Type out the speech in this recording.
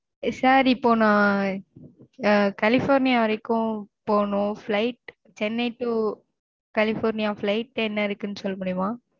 sir இப்போ நான் California வரைக்கும் போகணும் flight Chennai to California flight என்ன இருக்கு சொல்ல முடியுமா?